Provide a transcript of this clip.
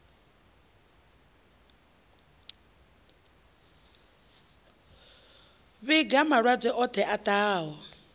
vhiga malwadze oṱhe a ṱahaho